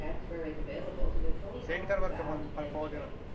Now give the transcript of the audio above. Send कराल का मला पॉवर?